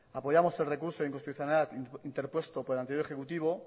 apoyamos el recurso inconstitucional interpuesto por el anterior ejecutivo